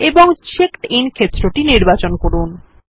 এবং checked in ক্ষেত্র টি নির্বাচিত করুন